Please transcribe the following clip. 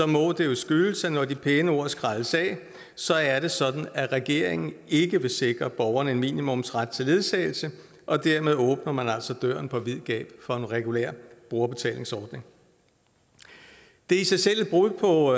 må det jo skyldes at når de pæne ord skrælles af så er det sådan at regeringen ikke vil sikre borgerne en minimumsret til ledsagelse og dermed åbner man altså døren på vid gab for en regulær brugerbetalingsordning det er i sig selv et brud på